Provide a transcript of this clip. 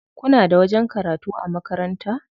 Kuna da wajen karatu a makaranta?